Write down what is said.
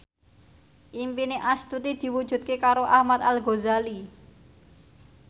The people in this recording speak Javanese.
impine Astuti diwujudke karo Ahmad Al Ghazali